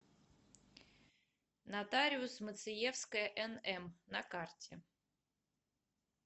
нотариус мациевская нм на карте